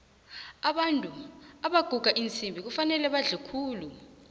abantu abaguga iinsimbi kufanele badle khulu